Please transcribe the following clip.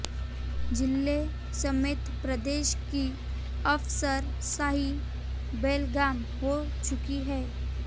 जिले समेत प्रदेश की अफसरशाही बेलगाम हो चुकी है